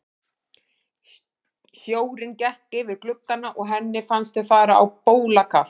Sjórinn gekk yfir gluggana og henni fannst þau fara á bólakaf.